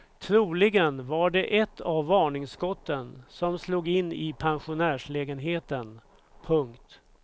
Troligen var det ett av varningsskotten som slog in i pensionärslägenheten. punkt